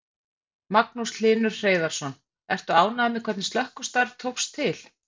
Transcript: Magnús Hlynur Hreiðarsson: Ertu ánægður með hvernig slökkvistarf tókst til?